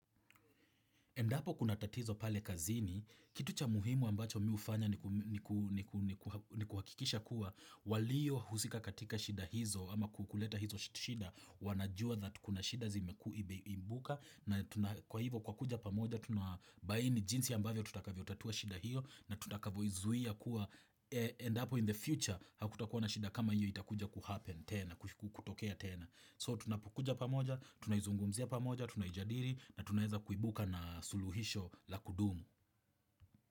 Endapo kuna tatizo pale kazini, kitu cha muhimu ambacho mimi hufanya ni kuhakikisha kuwa waliyo husika katika shida hizo ama kukuleta hizo shida, wanajua that kuna shida zimeibuka na kwa hivyo kwa kuja pamoja tunabaini jinsi ambavyo tutakavyo tatua shida hiyo na tutakavyo izuia kuwa endapo in the future hakutakuwa na shida kama hiyo itakuja kuhappen tena, kutokea tena. So tunapukuja pa moja, tunaizungumzia pamoja, tunaijadili na tunaweza kuibuka na suluhisho la kudumu.